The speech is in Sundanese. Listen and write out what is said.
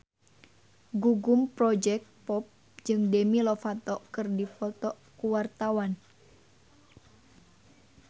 Gugum Project Pop jeung Demi Lovato keur dipoto ku wartawan